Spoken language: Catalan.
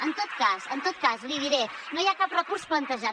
en tot cas l’hi diré no hi ha cap recurs plantejat